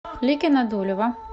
ликино дулево